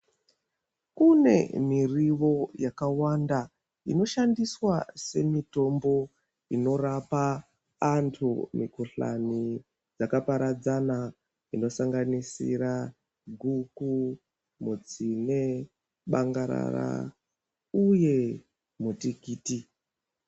Kune mirivo yakawanda inoshandiswa semitombo inorapa antu mikhuhlani yakaparadzana inosanganisira guku mutsine bangarara uyee mutikiti.